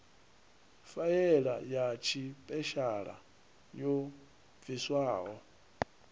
faela ya tshipeshala yo bviswaho